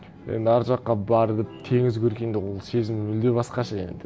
енді ар жаққа барып теңіз көргенде ол сезім мүлде басқаша енді